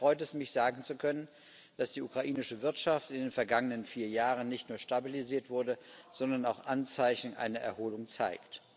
Daher freut es mich, sagen zu können, dass die ukrainische Wirtschaft in den vergangenen vier Jahren nicht nur stabilisiert wurde, sondern auch Anzeichen einer Erholung zeigt.